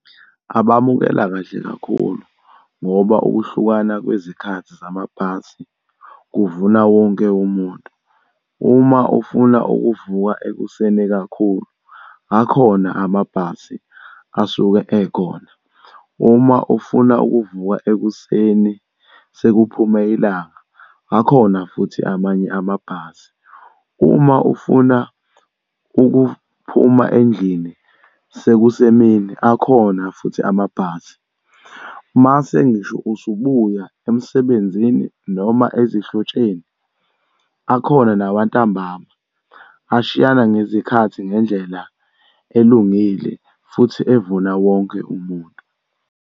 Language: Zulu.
Abamukela kahle kakhulu, ngoba ukuhlukana kwezikhathi zamabhasi kuvuna wonke umuntu. Uma ufuna ukuvuka ekuseni kakhulu akhona amabhasi asuke ekhona. Uma ufuna ukuvuka ekuseni, sekuphume ilanga akhona futhi amanye amabhasi. Uma ufuna ukuphuma endlini sekusemini akhona futhi amabhasi. Uma sengisho usubuya emsebenzini noma ezihlotsheni akhona nawantambama. Ashiyana ngezikhathi nendlela elungile futhi evuna wonke umuntu.